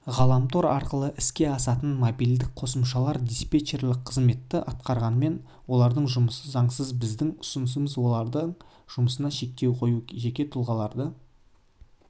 ғаламтор арқылы іске асатын мобильдік қосымшалар диспечерлік қызметті атқарғанмен олардың жұмысы заңсыз біздің ұсынысымыз олардың жұмысына шектеу қою жеке тұлғалардың осындай